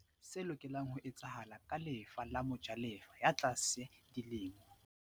O tlameha o bolele se lokelang ho etsahala ka lefa la mojalefa ya tlase di lemong.